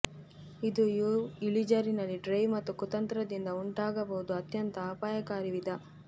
ಇದು ಯು ಇಳಿಜಾರಿನಲ್ಲಿ ಡ್ರೈವ್ ಮತ್ತು ಕುತಂತ್ರದಿಂದ ಉಂಟಾಗಬಹುದು ಅತ್ಯಂತ ಅಪಾಯಕಾರಿ ವಿಧ